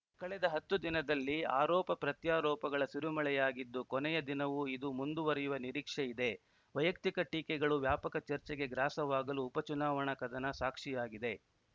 ಕಳೆದ ಹತ್ತು ದಿನದಲ್ಲಿ ಆರೋಪಪ್ರತ್ಯಾರೋಪಗಳ ಸುರಿಮಳೆಯಾಗಿದ್ದು ಕೊನೆಯ ದಿನವು ಇದು ಮುಂದುವರಿಯುವ ನಿರೀಕ್ಷೆ ಇದೆ ವೈಯಕ್ತಿಕ ಟೀಕೆಗಳು ವ್ಯಾಪಕ ಚರ್ಚೆಗೆ ಗ್ರಾಸವಾಗಲು ಉಪಚುನಾವಣಾ ಕದನ ಸಾಕ್ಷಿಯಾಗಿದೆ